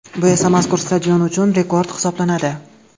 Bu esa mazkur stadion uchun rekord hisoblanadi.